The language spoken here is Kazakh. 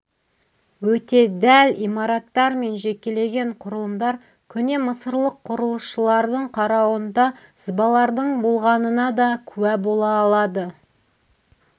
өте дәл имараттар мен жекеленген құрылымдар көне мысырлық құрылысшылардың қарауында сызбалардың болғанына да куә бола алады